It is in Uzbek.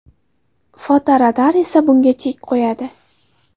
Fotoradar esa bunga chek qo‘yadi.